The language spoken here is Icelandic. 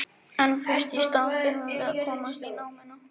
En fyrst í stað þurfum við að komast í námuna.